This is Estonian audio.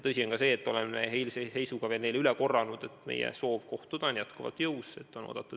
Tõsi on ka see, et oleme eilse seisuga neile üle korranud, et meie soov kohtuda on endiselt jõus.